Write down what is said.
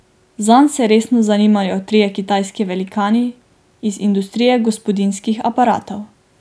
Zanj se resno zanimajo trije kitajski velikani iz industrije gospodinjskih aparatov.